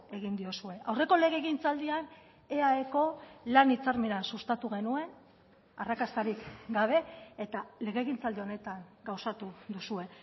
egin diozue aurreko legegintzaldian eaeko lan hitzarmena sustatu genuen arrakastarik gabe eta legegintzaldi honetan gauzatu duzue